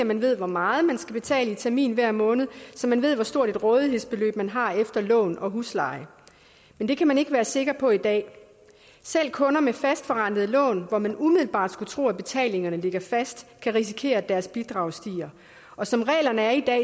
man ved hvor meget man skal betale i termin hver måned så man ved hvor stort et rådighedsbeløb man har efter lån og husleje men det kan man ikke være sikker på i dag selv kunder med fastforrentede lån hvor man umiddelbart skulle tro at betalingerne ligger fast kan risikere at deres bidrag stiger og som reglerne er i dag